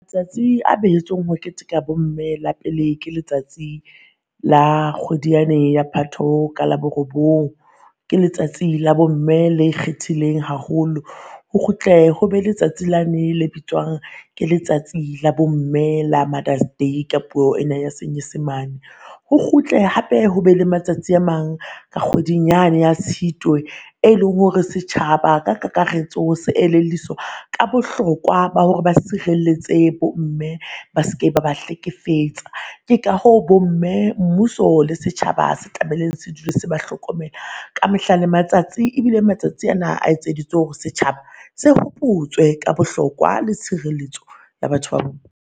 Letsatsi a behetsweng ho keteka bo mme la pele ke letsatsi la kgwedi yane ya Phato ka la bo robong. Ke letsatsi la bo mme le ikgethileng haholo. Ho kgutle ho be letsatsi lane le bitswang ke letsatsi la bo mme la Mother's Day ka puo ena ya senyesemane. Ho kgutle hape ho be le matsatsi a mang ka kgweding yane ya Tshitwe, e leng hore setjhaba ka kakaretso se elelliswa ka bohlokwa ba hore ba sirelletse bo mme ba seke ba ba hlekefetsa. Ke ka hoo bo mme, mmuso le setjhaba se tlamehile se dule se ba hlokomela ka mehla le matsatsi. Ebile matsatsi ana a etseditswe hore setjhaba, se hopotswe ka bohlokwa le tshireletso ya batho ba bo